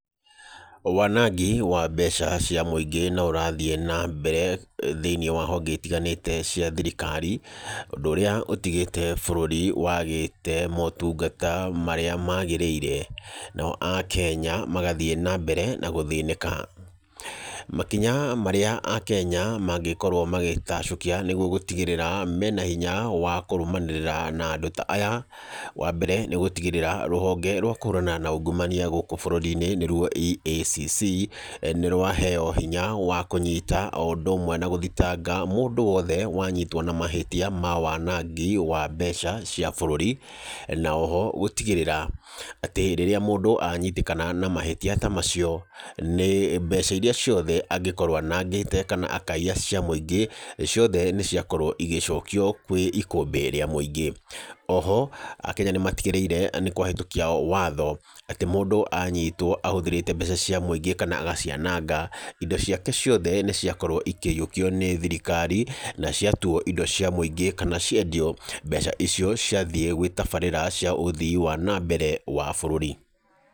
Wanangi wa mbeca cia mũingĩ no ũrathiĩ na mbere thĩiniĩ wa honge itiganĩte cia thirikari, ũndũ ũrĩa ũtigĩte bũrũri wagĩte motungata marĩa magĩrĩire. Nao Akenya, magathiĩ na mbere na gũthĩnĩka. Makinya marĩa Akenya mangĩkorwo magĩtacũkia nĩguo gũtigĩrĩra mena hinya wa kũrũmanĩrĩra na andũ ta aya, wa mbere nĩ gũtigĩrĩra rũhonge rwa kũhũrana na ungumania gũkũ bũrũri-inĩ nĩ ruo EACC, nĩ rwaheo hinya wa kũnyita o ũndũ ũmwe na gũthitanga mũndũ wothe wanyitwo na mahĩtia ma wanangi wa mbeca cia bũrũri, na oho gũtigĩrĩra atĩ rĩrĩa mũndũ anyitĩkana na mahĩtia ta macio, nĩ mbeca irĩa ciothe angĩkoro anangĩte kana akaiya cia mũingĩ, ciothe nĩ ciakorwo igĩcokio kwĩ ikũmbĩ rĩa mũingĩ. Oho, Akenya nĩ matigĩrĩire nĩ kwehetũkia watho, atĩ mũndũ anyitwo ahũthĩrĩte mbeca cia mũingĩ kana agaciananga, indo ciake ciothe nĩ ciakorwo ikĩiyũkio nĩ thirikari, na ciatuo indo cia mũingĩ, kana ciendio. Mbeca icio ciathiĩ gwĩ tabarĩra cia ũthii wa na mbere wa bũrũri.